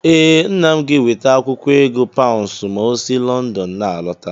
Ee, Nna m ga-eweta akwụkwọ ego paụnsụ ma o si Lọndọn n'alọta.